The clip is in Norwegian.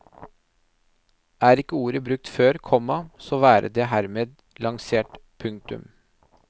Er ikke ordet brukt før, komma så være det hermed lansert. punktum